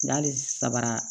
N'ale sabara